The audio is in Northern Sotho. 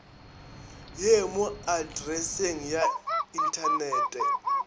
ye mo atreseng ya inthanete